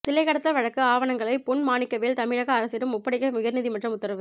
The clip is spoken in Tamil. சிலை கடத்தல் வழக்கு ஆவணங்களை பொன் மாணிக்கவேல் தமிழக அரசிடம் ஒப்படைக்க உயர் நீதிமன்றம் உத்தரவு